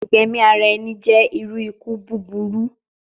Igbẹmi ara ẹni jẹ iru iku buburu